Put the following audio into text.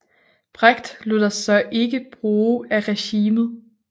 Brecht lod sig dog ikke bruge af regimet